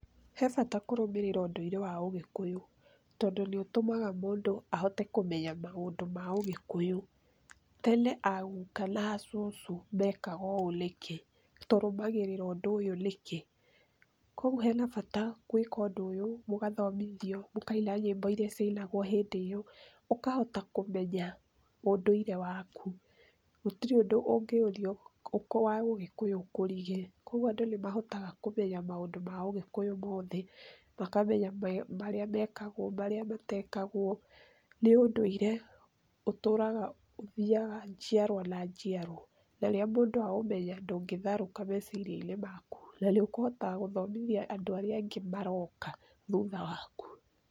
He bata kũrũmĩrĩra ũndũire wa ũgĩkũyũ tondũ nĩũtũmaga mũndũ ahote kũmenya maũndũ ma ũgĩkuyu. Tene aguka na acũcũ mekaga ũũ nĩkĩ? Tũrũmagĩrĩra ũndũ ũyũ nĩkĩ? kogwo he na bata gwĩka ũndũ ũyũ, mũgathomithio, mũkaina nyĩmbo ĩrĩa ciainagwo hĩndĩ ĩyo. Ũkahota kũmenya ũndũire waku, gũtirĩ undũ ungĩthiĩ wa ũgĩkũyũ ũkũrige kogwo andũ nĩ mahotaga kũmenya maũndũ ma ũgĩkũyũ mothe, makamenya marĩa mekagwo na marĩa matekagwo. Nĩ ũndũire ũtũraga ũthiyaga njiarwa na njiarwa. Narĩrĩa mũndũ aũmenya ndũngĩtharũka meciria-inĩ na nĩ ũkũhota gũthomithia andũ arĩa angĩ maroka thutha waku.